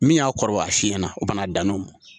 Min y'a kɔrɔbaya a siɲɛna u bɛna a dan n'o ma